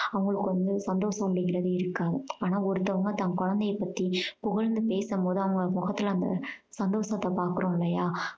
அவங்களுக்கு வந்து சந்தோஷம் அப்படீங்கறது இருக்காது. ஆனா ஒருத்தவங்க தன் குழந்தைய பத்தி புகழ்ந்து பேசும் போது அவங்க முகத்துல அந்த சந்தோஷத்தை பாக்குறோம் இல்லையா